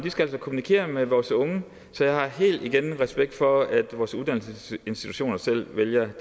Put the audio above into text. skal altså kommunikere med vores unge så jeg har helt igennem respekt for at vores uddannelsesinstitutioner selv vælger